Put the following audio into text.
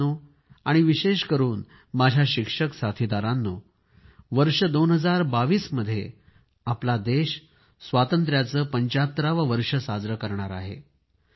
मित्रांनो आणि विशेष करून माझ्या शिक्षक साथीदारांनो वर्ष 2022 मध्ये आपला देश स्वातंत्र्याचे 75 वे वर्ष साजरे करणार आहे